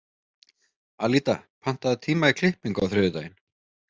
Alída, pantaðu tíma í klippingu á þriðjudaginn.